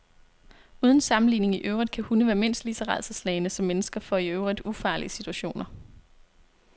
Uden sammenligning i øvrigt kan hunde være mindst lige så rædselsslagne som mennesker for i øvrigt ufarlige situationer.